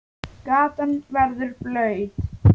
Gatan verður blaut.